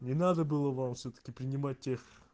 не надо было вам всё-таки принимать тех